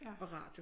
Og radio